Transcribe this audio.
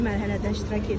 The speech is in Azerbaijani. İkinci mərhələdə iştirak edir.